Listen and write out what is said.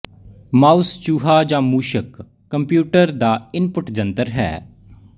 mouse ਚੂਹਾ ਜਾਂ ਮੂਸ਼ਕ ਕੰਪਿਊਟਰ ਦਾ ਇਨਪੁੱਟ ਜੰਤਰ ਹੈ